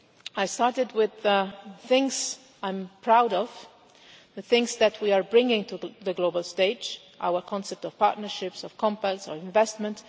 I started with things I am proud of, the things that we are bringing to the global stage, our concept of partnerships, of compacts, or investment.